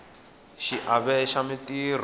xiave xa mintirho